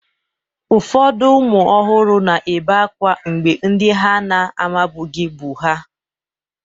Ụfọdụ ụmụ ọhụrụ na-ebe akwa mgbe ndị ha na-amabughị bu ha.